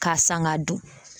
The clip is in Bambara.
K'a san g'a dun